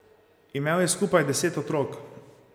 Imel je skupaj deset otrok.